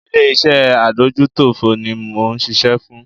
Ilé iṣé adójútòfò ní mò ń ṣiṣẹ́ fún.